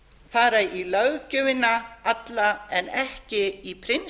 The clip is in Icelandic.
fara í löggjöfina alla en ekki í prinsipp í